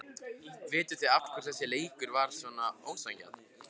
Vitiði af hverju þessi leikur var ósanngjarn?